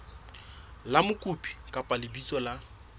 la mokopi kapa lebitso la